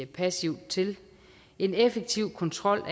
passivt til en effektiv kontrol